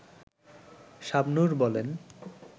শাবনূর বলেন